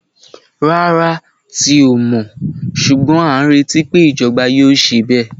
Rárá, ti o mọ, ṣugbọn a ń reti pé ijọba yóò ṣe bẹ.